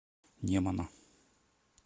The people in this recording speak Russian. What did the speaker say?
немана